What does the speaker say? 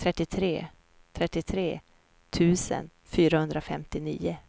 trettiotre tusen fyrahundrafemtionio